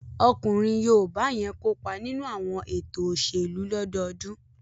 Ọkùnrin yoòbá yẹn kópa nínú àwọn ètò òṣèlú lọ́dọọdún